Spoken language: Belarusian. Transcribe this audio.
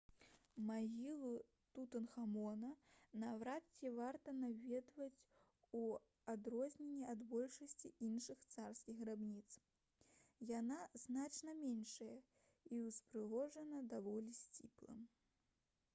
магілу тутанхамона наўрад ці варта наведваць у адрозненні ад большасці іншых царскіх грабніц яна значна меншая і ўпрыгожана даволі сціпла